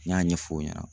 N y'a ɲɛfɔ o ɲɛna